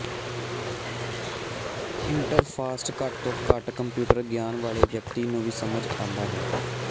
ਇੰਟਰਫਾਸਟ ਘੱਟ ਤੋਂ ਘੱਟ ਕੰਪਿਊਟਰ ਗਿਆਨ ਵਾਲੇ ਵਿਅਕਤੀ ਨੂੰ ਵੀ ਸਮਝ ਸਕਦਾ ਹੈ